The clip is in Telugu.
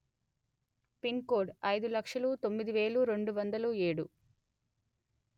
పిన్ కోడ్ అయిదు లక్షలు తొమ్మిది వెలు రెండు వందలు ఏడు